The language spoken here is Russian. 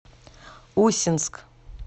усинск